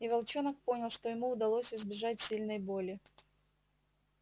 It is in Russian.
и волчонок понял что ему удалось избежать сильной боли